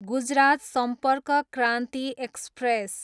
Gujarat Sampark Kranti express